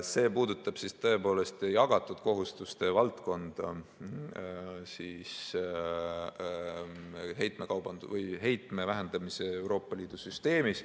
See puudutab tõepoolest jagatud kohustuste valdkonda heitmete vähendamise Euroopa Liidu süsteemis.